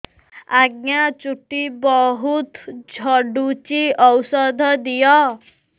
ଆଜ୍ଞା ଚୁଟି ବହୁତ୍ ଝଡୁଚି ଔଷଧ ଦିଅ